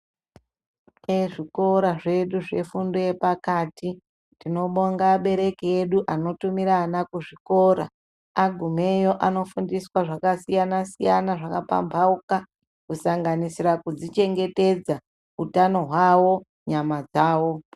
Ezvikora zvedu zvefundo yepakati tinobonga abereki edu anotumira ana kuzvikora. Agumeyo anofundiswa zvakasiyana-siyana, zvakapambauka kusanganisira kuzvichengetedza utano hwavo nyama dzavo.